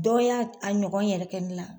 Dɔw y'a a ɲɔgɔn yɛrɛ kɛ ne la